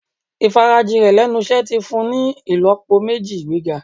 Ìfarajìn rẹ̀ lẹ́nu iṣẹ́ ti fun ni ìlọ́po méjì ìgbéga.